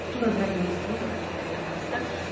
тура бір айдан асты ғой тура бір айдан асты